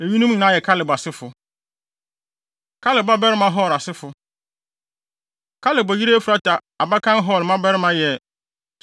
Eyinom nyinaa yɛ Kaleb asefo. Kaleb Babarima Hur Asefo Kaleb yere Efrata abakan Hur mmabarima yɛ Sobal a ɔyɛ Kiriat-Yearim agya